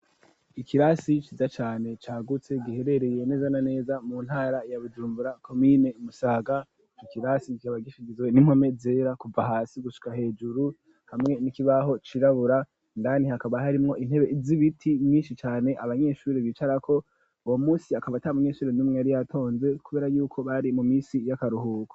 Ikirasi ciza cane cagutse giherereye nezana neza mu ntara ya bujumbura komine musaga ikirasi gikaba gifigizwe n'impome zera kuva hasi gushika hejuru hamwe n'ikibaho cirabura ndani hakaba harimwo intebe z'ibiti myinshi cane abanyeshure bicarako ubo munsi akaba ta munyeshure n'umwe ari yatonze kubera yuko bari mu misi y'akaruhuko.